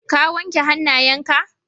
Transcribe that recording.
Ka wanke hanayen ka?